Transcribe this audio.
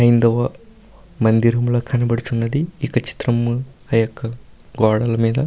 హైందవ మందిరంలా కనబడుచున్నది. ఈ యొక్క చిత్రము ఆ యొక్క గోడల మీద --